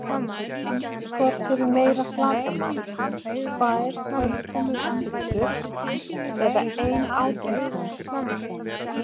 Hvort hefur meira flatarmál, tvær tólf tommu pizzur eða ein átján tommu pizza?